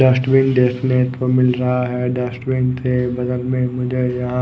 dustbin देखने को मिल रहा है डस्टबिन के बगल में मुझे यहाँ --